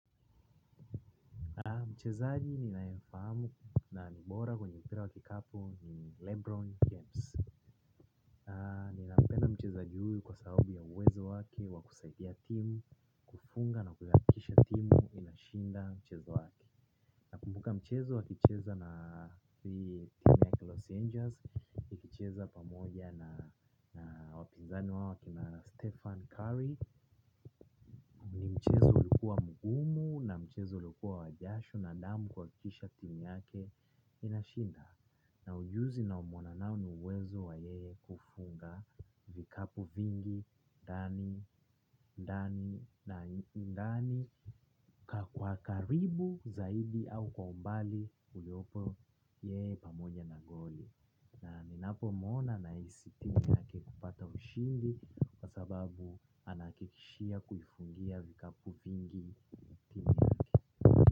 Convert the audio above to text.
Mchezaji ninayemfahamu na ni bora kwenye kila wakati ni LeBron James. Ninapenda mchezaji huyo kwa sababu ya uwezo wake wa kusaidia timu, kufunga na kuhakikisha timu inashinda mchezo wake. Nakumbuka mchezo akicheza hii timu ya Los Angeles, wakicheza pamoja na wapinzani wao akina Stephen Curry ni mchezo ulikuwa mgumu na mchezo uliokuwa wa jasho na damu kuhakikisha timu yake inashinda na ujuzi ninaomwona nao ni uwezo wa yeye kufunga vikapu vingi, ndani, kwa karibu zaidi au kwa umbali uliopo yeye pamoja na goli. Na ninapomwona nahisi tija ya kupata ushindi kwa sababu anahakikishia kuifungia vikapu vingi timu yake.